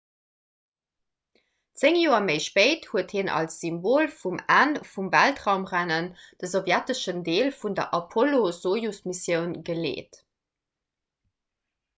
zéng joer méi spéit huet hien als symbol vum enn vum weltraumrennen de sowjeteschen deel vun der apollo-sojus-missioun geleet